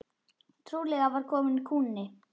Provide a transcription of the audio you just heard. Trúlega var kominn kúnni.